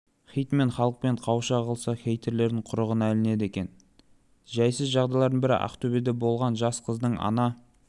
хитмен халықпен қауыша қалса хейтерлердің құрығына ілінеді екен жайсыз жағдайлардың бірі ақтөбеде болған жас қыздың ана